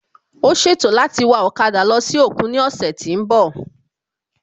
Ó ṣètò láti wa ọ̀kada lọ sí òkun ní òsè tí n bò